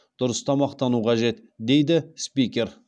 дұрыс тамақтану қажет дейді спикер